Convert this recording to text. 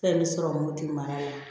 Fɛn bɛ sɔrɔ modi mana